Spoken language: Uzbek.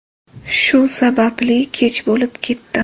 Shu sababli kech bo‘lib ketdi.